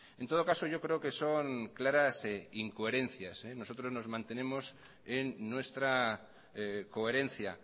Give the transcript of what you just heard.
en todo caso yo creo que son claras incoherencias nosotros nos mantenemos en nuestra coherencia